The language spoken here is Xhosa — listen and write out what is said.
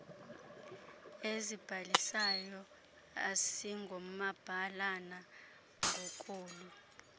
ezibalisayo asingomabalana ngokolu